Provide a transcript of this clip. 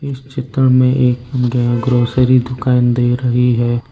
इस चित्र में एक अं ग्रोसरी की दुकान दिख रही है।